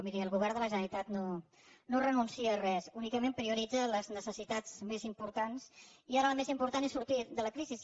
miri el govern de la generalitat no renuncia a res únicament prioritza les necessitats més importants i ara la més important és sortir de la crisi